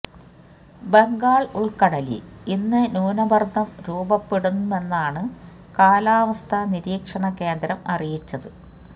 ബംഗാള് ഉള്ക്കടലില് ഇന്ന് ന്യൂനമര്ദ്ദം രൂപപ്പെടുമെന്നാണ് കാലാവസ്ഥാ നിരീക്ഷണ കേന്ദ്രം അറിയിച്ചത്